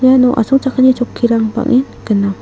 iano asongchakani chokkirang bang·en gnang.